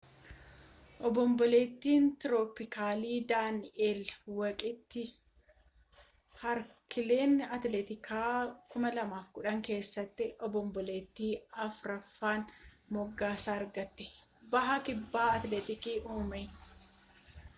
obomboleettiin tiroopikaalii daani'eel waqtii haarikeenii atilaantikii 2010 keessatti obomboleettii afraffaan moggaasa argate baha garba atilaantikiitti uumame